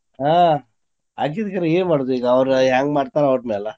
ಆಹ್ ಆಕ್ಕೇತಿ ಕರೆ ಏನ್ ಮಾಡೊದ್ ಈಗಾ ಅವ್ರ ಹೆಂಗ್ ಮಾಡ್ತಾರ ಅವ್ರ ಮ್ಯಾಲ.